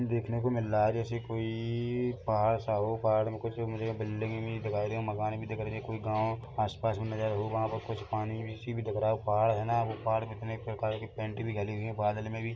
देखने को मिल रहा है जैसे कोई पहाड़ सा हो पहाड़ में मुझे कुछ बिल्डिंगे मुझे दिखाई मकान भी दिख रहा है कुछ कोई गांव आस-पास में नज़त वहाँ पे कुछ पानी जैसी भी दिख रहा पहाड़ है ना पहाड़ में कई प्रकार के पैंट भी लगे हुए हैं बादल में भी--